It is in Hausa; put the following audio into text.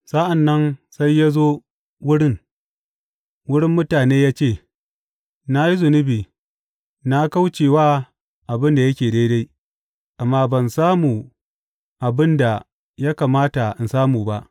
Sa’an nan sai ya zo wurin, wurin mutane ya ce, Na yi zunubi, na kauce wa abin da yake daidai, amma ban samu abin da ya kamata in samu ba.